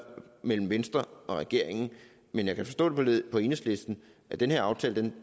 mellem venstre og regeringen men jeg kan forstå på enhedslisten at den her aftale